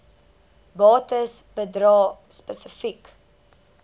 bates bedrae spesifiek